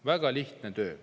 Väga lihtne töö.